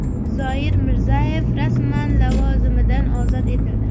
Zoir Mirzayev rasman lavozimidan ozod etildi.